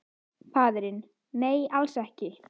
Faðirinn: Nei, alls ekki neitt.